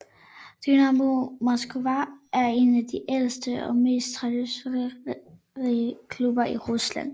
Dynamo Moskva er en af de ældste og mest traditionsrige klubber i Rusland